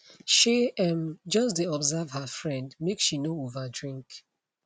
shey um just dey observe her friend make she no over drink